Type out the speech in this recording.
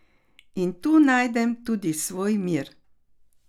In tu najdem tudi svoj mir.